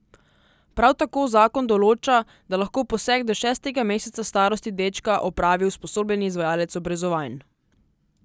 Prav tako zakon določa, da lahko poseg do šestega meseca starosti dečka opravi usposobljeni izvajalec obrezovanj.